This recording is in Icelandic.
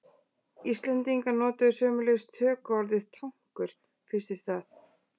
Íslendingar notuðu sömuleiðis tökuorðið tankur fyrst í stað.